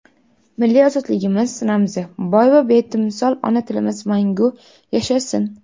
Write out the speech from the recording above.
Milliy ozodligimiz ramzi — boy va betimsol ona tilimiz mangu yashasin!.